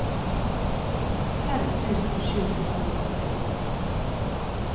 fem tusen sju hundre og nittito